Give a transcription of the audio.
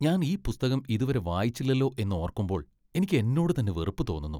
ഞാൻ ഈ പുസ്തകം ഇതു വരെ വായിച്ചില്ലലോ എന്നോർക്കുമ്പോൾ എനിക്ക് എന്നോട് തന്നെ വെറുപ്പ് തോന്നുന്നു.